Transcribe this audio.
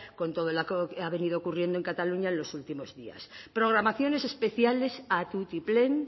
con todo lo que ha venido ocurriendo en cataluña en los últimos días programaciones especiales a tutiplén